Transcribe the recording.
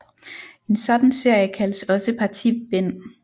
En sådan serie kaldes også partibind